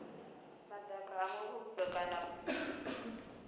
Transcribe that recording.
madaka a muvhuso kana phukha